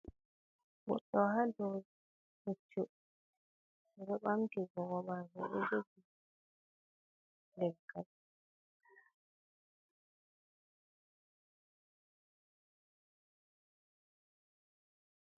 Goɗɗo haa dow puccu o ɗo ɓamti gomako o ɗo jogi leggal.